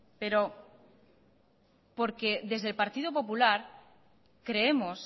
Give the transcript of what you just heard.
porque desde el partido popular creemos